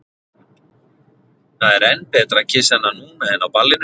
Það er enn betra að kyssa hana núna en á ballinu.